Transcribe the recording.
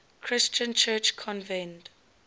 christian church convened